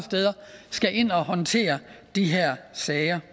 skal ind og håndtere de her sager